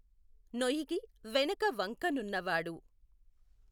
నొఇగి వెనక వంక నున్నవాడు